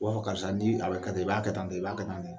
B'a fɔ karisa ni a bɛ ka tan i b'a kɛ tantɔ i b'a ka tan de.